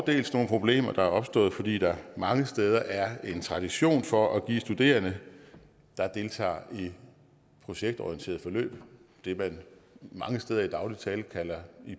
dels nogle problemer der er opstået fordi der mange steder er en tradition for at give studerende der deltager i projektorienterede forløb det man mange steder i daglig tale kalder